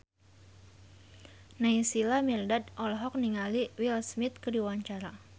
Naysila Mirdad olohok ningali Will Smith keur diwawancara